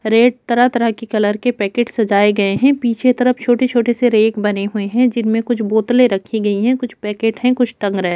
Red तरह-तरह के colour के पैकेट सजाए गए है पीछे की तरफ छोटे-छोटे से रैक बने हुए है जिनमे कुछ बोतले रखी हुई है कुछ पैकेट है कुछ टंग रहा है।